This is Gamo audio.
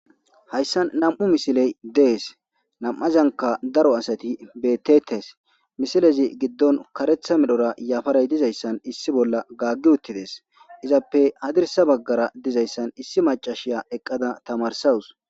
Haysan nam'u misiley desi namazanika daro asati betetesi misilezi gidon karetha medhora yafaray dizaysan gaagi uttides izape hadisa bagara dizaysa issi maciya eqada tamarsaws.